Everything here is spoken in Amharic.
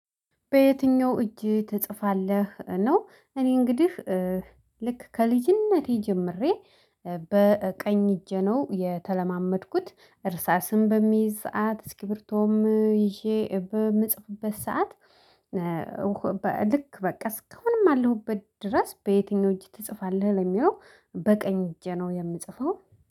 በየትኛው? እጅ ትጽፋለህ ነው እኔ እንግዲህ ልክ ከልጅነቴ ጀምሬ በቀኝ እጄ ነው የተለማመድኩት እርሳስም በሚይዝ ሰዓት እስኪብርቶም ይዤ በምጽፍበት ሰዓት። ልክ በቃ እስካሁንም አለሁበት ድረስ በየትኛው እጅ ትጽፋለህ ለሚለው? በቀኝ እጅ ነው የምጽፈው